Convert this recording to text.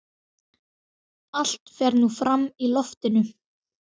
Allt fer nú fram í loftinu.